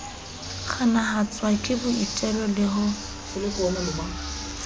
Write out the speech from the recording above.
kganahatswa ke boitelo le ho